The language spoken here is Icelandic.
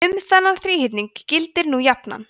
um þennan þríhyrning gildir nú jafnan